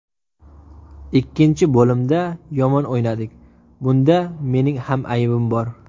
Ikkinchi bo‘limda yomon o‘ynadik, bunda mening ham aybim bor.